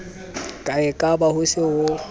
ka ekaba ho se ho